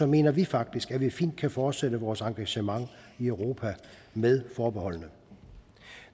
mener vi faktisk at vi fint kan fortsætte vores engagement i europa med forbeholdene